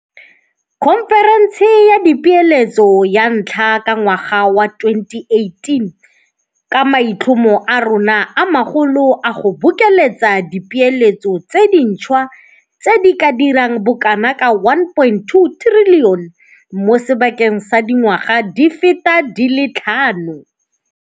Khonferense ya Dipeeletso ya ntlha ka ngwaga wa 2018 ka maitlhomo a rona a magolo a go bokeletsa dipeeletso tse dintšhwa tse di ka dirang bokanaka R1.2 trilione mo sebakeng sa dingwaga di feta di le tlhano.